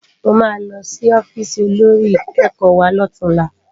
Mó má lò si òfìsí ôlórí ikèékò wá lòtúnlá